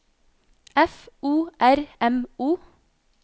F O R M O